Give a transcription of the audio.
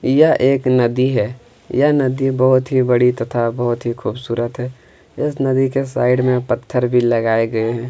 यह एक नदी है यह नदी बहुत ही बड़ी तथा बहुत ही खूबसूरत है इस नदी के साइड में पत्थर भी लगाए गए हैं।